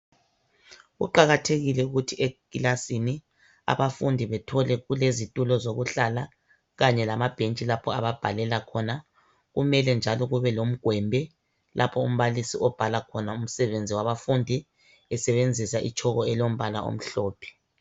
Kuqakathekile ukuthi ekilasini abafundi bethole kulezitulo zokuhlala kanye lama bhentshi lapho ababhalela khona kumele njalo kube lomgwembe lapho umbalisi obhala khona umsebenzi wabafundi, esebenzisa itshoko elombala omhlophe.